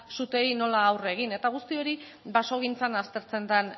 suteei nola aurre egin eta guzti hori basogintzan aztertzen den